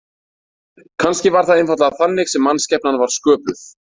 Kannski var það einfaldlega þannig sem mannskepnan var sköpuð.